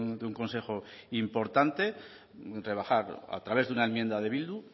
de un consejo importante rebajar a través de una enmienda de bildu